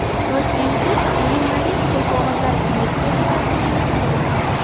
Toshkentda Blumarine gulqog‘ozlar kolleksiyasi taqdimoti bo‘lib o‘tdi.